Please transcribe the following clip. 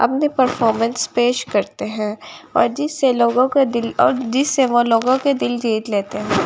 अपने परफॉर्मेंस पेश करते हैं और जिससे लोगों दिल और जिससे वो लोगों के दिल जीत लेते हैं।